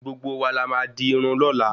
Gbogbo wa la má di Irun lóla